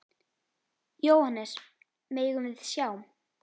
Jóhannes: Megum við sjá?